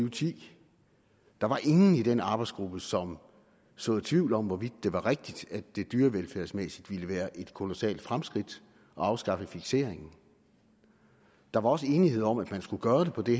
og ti der var ingen i den arbejdsgruppe som såede tvivl om hvorvidt det var rigtigt at det dyrevelfærdsmæssigt ville være et kolossalt fremskridt at afskaffe fikseringen der var også enighed om at man skulle gøre det på det